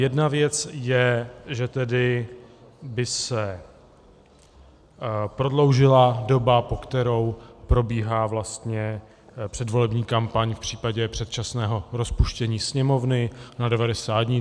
Jedna věc je, že tedy by se prodloužila doba, po kterou probíhá předvolební kampaň v případě předčasného rozpuštění Sněmovny, na 90 dní.